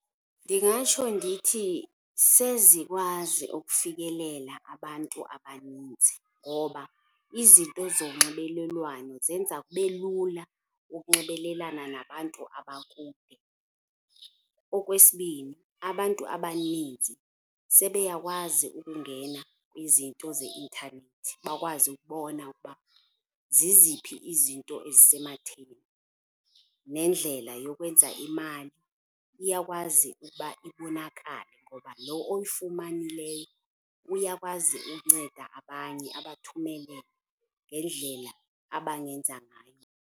Ndingatsho ndithi sezikwazi ukufikelela abantu abaninzi ngoba izinto zonxibelelwano zenza kube lula ukunxibelelana nabantu abakude. Okwesibini, abantu abaninzi sebeyakwazi ukungena kwizinto zeintanethi bakwazi ukubona ukuba ziziphi izinto ezise matheni. Neendlela yokwenza imali iyakwazi ukuba ibonakale ngoba lo oyifumanileyo uyakwazi ukunceda abanye abathumele ngendlela abangenza ngayo